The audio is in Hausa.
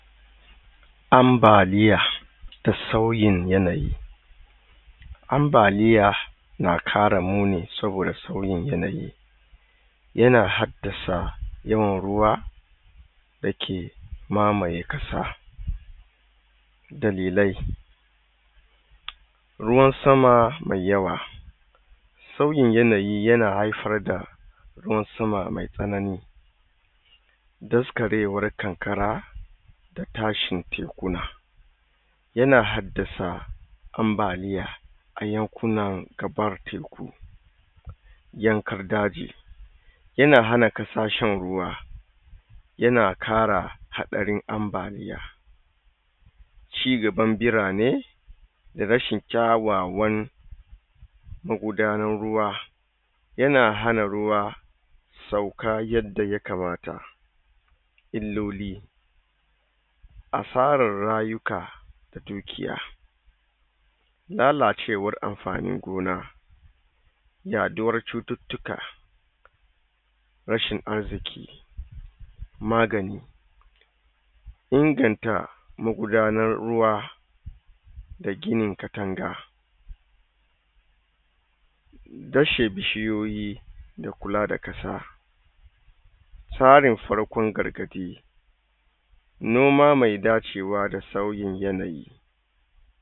amba liya sauyin yanayi amba liya na ƙara muni saboda sauyin yanayi yana haddasa yawan ruwa da ke mamaye ƙasa dalilai ruwan sama mai yawa sauyin yanayi ya haifarda ruwan sama mai tsanani daskarewan ƙanƙara da tashi tekuna yana haddasa amba liya ayan kunan gabar teku yankar daji yana hana ƙasa shan ruwa yana ƙara haɗarin amba liya ci gaban birane rashin kyawawon magudanan ruwa yana hana ruwa ɗauka yanda yakamata illoli asarar raka a dukiya lalacewar amfanin gona raɗuwar cututtuka rashin arziki magani inganta magudanar ruwa da gini katanga rashe bishuyiyi da kula da ƙasa farin farkon gargaɗi noma me dacewa da sauyin yanayi